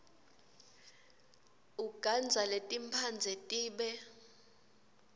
ugandza letimphandze tibe